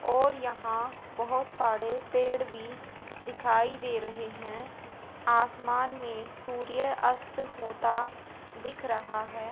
और यहां बहोत सारे पेड़ भी दिखाई दे रहे हैं आसमान में सूर्य अस्त होता दिख रहा है।